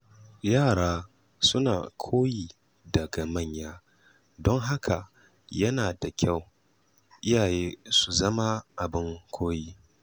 Yara suna koyi daga manya, don haka yana da kyau iyaye su zama abin koyi.